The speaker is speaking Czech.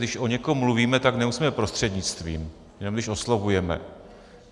Když o někom mluvíme, tak nemusíme prostřednictvím, jenom když oslovujeme.